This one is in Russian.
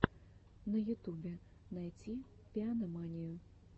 на ютубе найти пианоманию